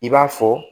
I b'a fɔ